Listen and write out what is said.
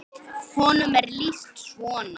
Honum er lýst svona